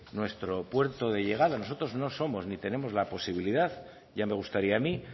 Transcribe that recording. nuestro puerto de llegada nosotros no somos ni tenemos la posibilidad ya me gustaría a mí